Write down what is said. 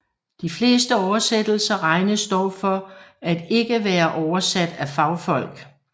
De fleste oversættelser regnes dog for at ikke være oversat af fagfolk